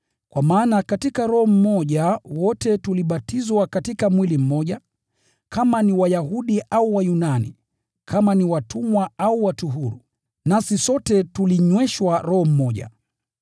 Kwa maana katika Roho mmoja wote tulibatizwa katika mwili mmoja, kama ni Wayahudi au Wayunani, kama ni watumwa au watu huru, nasi sote tulinyweshwa Roho mmoja.